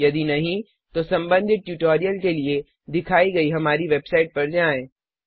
यदि नहीं तो संबंधित ट्यूटोरियल के लिए दिखाई गई हमारी वेबसाइट पर जाएँ